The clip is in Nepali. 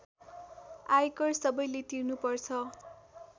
आयकर सबैले तिर्नुपर्छ